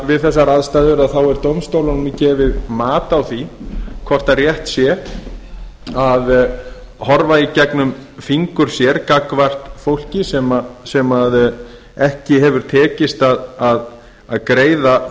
við þessar aðstæður er dómstólunum gefið mat á því hvort rétt sé að horfa í gegnum fingur sér gagnvart fólki sem ekki hefur tekist að greiða